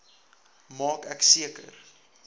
maak ek seker